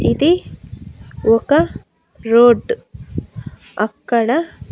ఇది ఒక రోడ్ అక్కడ--